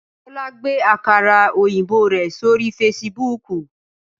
Tólá gbé àkàrà òyìnbó rẹ̀ sórí Fasibúùkù